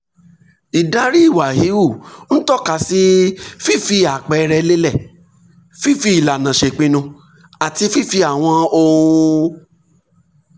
ìdarí ìwà híhù ń tọ́ka sí fífi àpẹẹrẹ lélẹ̀ fífi ìlànà ṣèpinnu àti fífi àwọn ohun